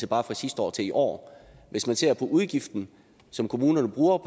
bare fra sidste år til i år hvis man ser på udgiften som kommunerne